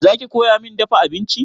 Za ki koya min dafa abinci?